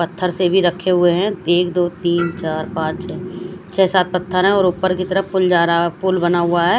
पत्थर से भी रखे हुए है एक दो तिन चार पाच है छे सात पत्थर है और उपर की तरफ पुल जारा पुल बना हुआ है।